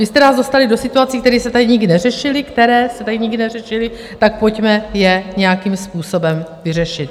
Vy jste nás dostali do situací, které se tady nikdy neřešily, které jste tady nikdy neřešili, tak pojďme je nějakým způsobem vyřešit.